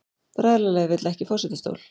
Bræðralagið vill ekki forsetastól